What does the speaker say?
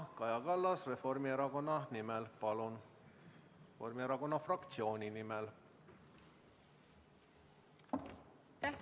Kaja Kallas, Reformierakonna fraktsiooni nimel, palun!